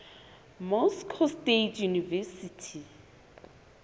moscow state university